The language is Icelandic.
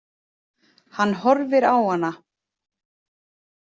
Hann horfir á hana.